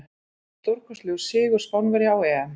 Stórkostlegur sigur Spánverja á EM.